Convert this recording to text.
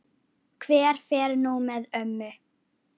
Hver fer nú með ömmu?